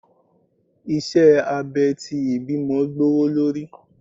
iṣẹ abè ti ìbímo gbówólorí